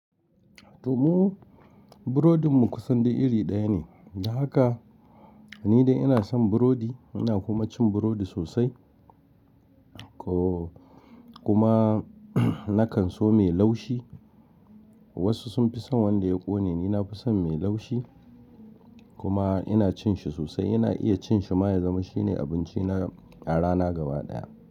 To mu burodin mu kusan da iri ɗaya ne. Da haka ni dai ina son burodi ina kuma cin burodi sosai. Kuma nakan so mai laushi. Wasu sun fi son wanda ya ƙone ni nafi son mai laushi kuma ina cin shi sosai. Ina iya cin shi ma ya zama shine abinci na a rana gaba ɗaya.